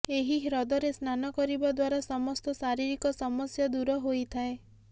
ଏହି ହ୍ରଦରେ ସ୍ନାନ କରିବା ଦ୍ୱାରା ସମସ୍ତ ଶାରୀରିକ ସମସ୍ୟା ଦୂର ହୋଇଥାଏ